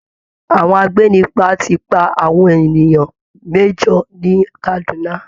Àwọn agbénipa ti pa àwọn èèyàn mẹ́jọ ní Kaduna